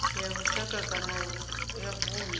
ya lushaka kana ya vundu